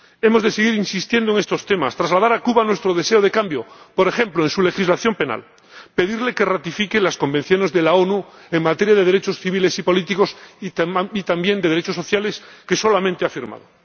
Hemos de seguir insistiendo en estos temas, trasladar a Cuba nuestro deseo de cambio, por ejemplo, en su legislación penal, y pedirle que ratifique las convenciones de las Naciones Unidas en materia de derechos civiles y políticos, y también de derechos sociales, que solamente ha firmado.